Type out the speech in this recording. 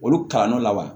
Olu kalan dɔ la wa